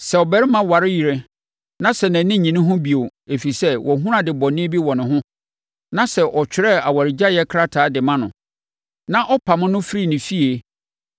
Sɛ ɔbarima ware yere na sɛ nʼani nnye ne ho bio, ɛfiri sɛ wahunu ade bɔne bi wɔ ne ho, na sɛ ɔtwerɛ awaregyaeɛ krataa de ma no, na ɔpamoo no firi ne fie,